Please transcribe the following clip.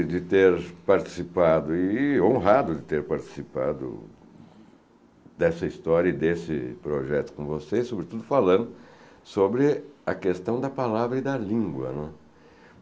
de ter participado e honrado de ter participado dessa história e desse projeto com vocês, sobretudo falando sobre a questão da palavra e da língua, né.